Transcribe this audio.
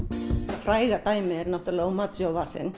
fræga dæmið er náttúrulega